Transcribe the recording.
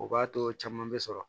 O b'a to caman bɛ sɔrɔ